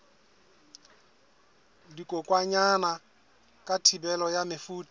dikokwanyana ka thibelo ya mefuta